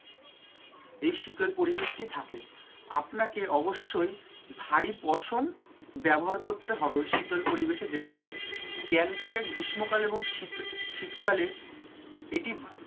এই শীতল পরিবেশটি থাকে। আপনাকে অবশ্যই ভারী পোষণ ব্যবহার করতে হবে ওই শীতল পরিবেশে যেতে গেলে গ্যাংটক এ গ্রীষ্মকাল এবং শীত শীতকালে এটি,